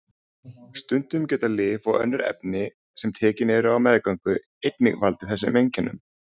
Stundum geta lyf og önnur efni sem tekin eru á meðgöngu einnig valdið þessum einkennum.